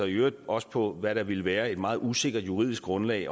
i øvrigt også på hvad der ville være et meget usikkert juridisk grundlag i